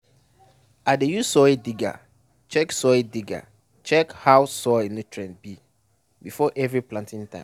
i dey use soil digger check soil digger check how soil nutrient be before every planting time.